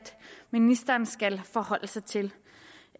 ministeren også skal forholde sig til